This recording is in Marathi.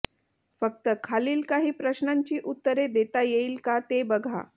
फक्त खालील काही प्रश्नांची ऊत्तरे देता येईल का ते बघा